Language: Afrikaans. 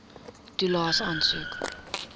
toelaes aansoek